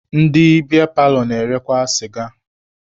Ndị biya paalọ na-erekwa sịga.